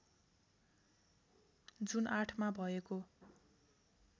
जुन ८ मा भएको